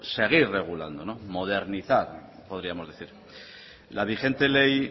seguir regulando modernizar podríamos decir la vigente ley